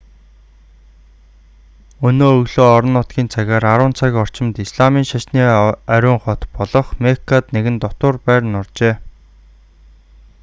өнөө өглөө орон нутгийн цагаар 10 цаг орчимд исламын шашны ариун хот болох меккад нэгэн дотуур байр нуржээ